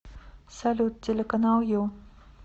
салют телеканал ю